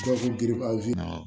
Gawusu giribazi